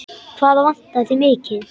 Hvað vantar þig mikið?